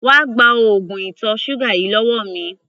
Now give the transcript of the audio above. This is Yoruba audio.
Wá gba oògùn ìtọ̀ ṣúgà yìí lọ́wọ́ mi!